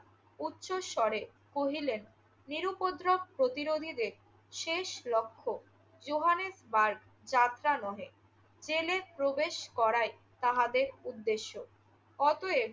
উচ্চস্বরে কহিলেন, নিরুপদ্রব প্রতিরোধীদের শেষ লক্ষ্য জোহানেসবার্গ যাত্রা নহে, জেলে প্রবেশ করাই তাহাদের উদ্দেশ্য। অতএব